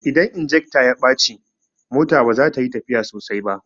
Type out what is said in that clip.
Idan injekta ya bace mota baza tayi tafiya sosai ba